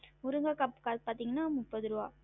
பாத்திங்கன்னா முப்பது ருவா